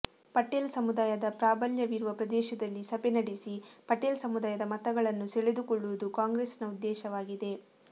ಪಟೇಲ್ ಸಮುದಾಯದ ಪ್ರಾಭಲ್ಯವಿರುವ ಪ್ರದೇಶದಲ್ಲಿ ಸಭೆ ನಡೆಸಿ ಪಟೇಲ್ ಸಮುದಾಯದ ಮತಗಳನ್ನು ಸೆಳೆದುಕೊಳ್ಳುವುದು ಕಾಂಗ್ರೆಸ್ನ ಉದ್ದೇಶವಾಗಿದೆ